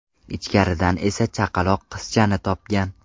Ichkaridan esa chaqaloq qizchani topgan.